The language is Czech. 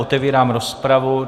Otevírám rozpravu.